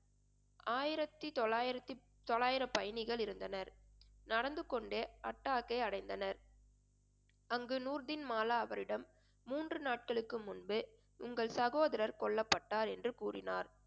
ஆயிரத்து தொள்ளாயிரத்தி~ தொள்ளாயிரம் பயணிகள் இருந்தனர். நடந்துகொண்டு அட்டாகை அடைந்தனர் அங்கு நூர்பின்மாலா அவரிடம் மூன்று நாட்களுக்கு முன்பு உங்கள் சகோதரர் கொல்லப்பட்டார் என்று கூறினார்